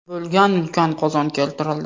bo‘lgan ulkan qozon keltirildi.